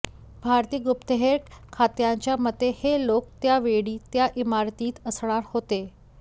भारतीय गुप्तहेर खात्याच्या मते हे लोक त्या वेळी त्या इमारतीत असणार होते